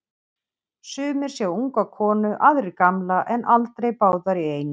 Sumir sjá unga konu, aðrir gamla, en aldrei báðar í einu.